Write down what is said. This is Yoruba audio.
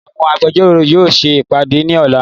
Àwọn Agbẹjọ́rò yóò ṣe ìpàdé ní ọ̀la